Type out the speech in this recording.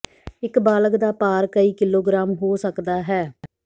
ਇੱਕ ਬਾਲਗ ਦਾ ਭਾਰ ਕਈ ਕਿਲੋਗ੍ਰਾਮ ਹੋ ਸਕਦਾ ਹੈ